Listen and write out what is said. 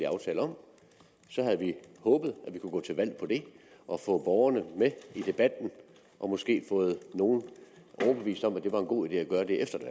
aftale om havde vi håbet at vi kunne gå til valg på det og få borgerne med i debatten og måske få nogle overbevist om at det var en god idé at gøre det efter et